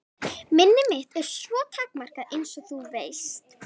Minni mitt er svo takmarkað einsog þú veist.